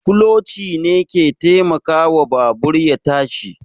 Kuloci ne ke taimakawa babur ya tashi